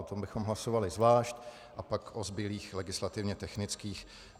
O tom bychom hlasovali zvlášť, a pak o zbylých legislativně technických.